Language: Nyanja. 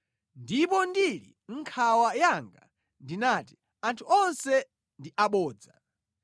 Ndipo ndili mʼnkhawa yanga ndinati, “Anthu onse ndi abodza.”